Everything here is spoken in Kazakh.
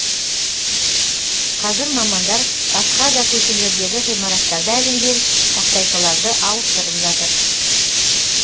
қазір мамандар басқа да көшелердегі ғимараттарда ілінген тақтайшаларды ауыстырып жатыр